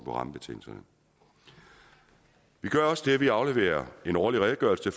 rammebetingelserne vi gør også det at vi afleverer en årlig redegørelse